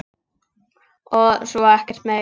Og svo ekkert meir.